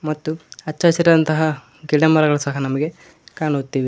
ಮತ್ತು ಅಚ್ಚ ಹಸಿರಾದಂತಹ ಗಿಡಮರಗಳು ಸಹ ನಮಗೆ ಕಾಣುತ್ತಿವೆ.